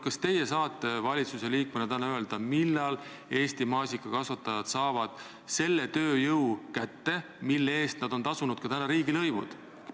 Kas teie saate valitsuse liikmena täna öelda, millal Eesti maasikakasvatajad saavad selle tööjõu kätte, mille eest nad on tasunud ka riigilõivud?